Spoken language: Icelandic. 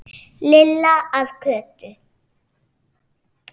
Lilla að Kötu.